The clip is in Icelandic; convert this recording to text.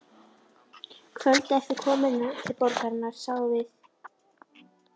Kvöldið eftir komuna til borgarinnar sáum við